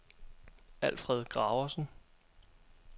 Alfred Graversen